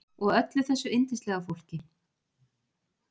Og öllu þessu yndislega fólki.